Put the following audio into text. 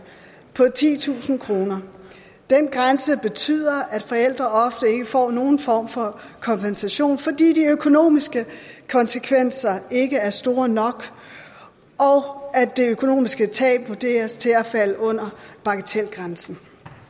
på titusind kroner den grænse betyder at forældre ofte ikke får nogen form for kompensation fordi de økonomiske konsekvenser ikke er store nok og det økonomiske tab vurderes til at falde under bagatelgrænsen